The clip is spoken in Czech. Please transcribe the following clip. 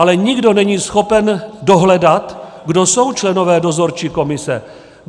Ale nikdo není schopen dohledat, kdo jsou členové dozorčí komise.